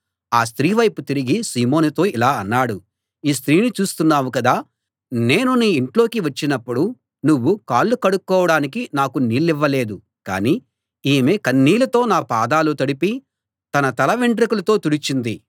ఆ స్త్రీ వైపు తిరిగి సీమోనుతో ఇలా అన్నాడు ఈ స్త్రీని చూస్తున్నావు కదా నేను నీ ఇంట్లోకి వచ్చినప్పుడు నువ్వు కాళ్ళు కడుక్కోడానికి నాకు నీళ్ళివ్వలేదు కానీ ఈమె కన్నీళ్ళతో నా పాదాలు తడిపి తన తల వెంట్రుకలతో తుడిచింది